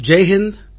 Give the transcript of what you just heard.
Jai Hind